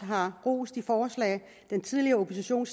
har rost de forslag den tidligere opposition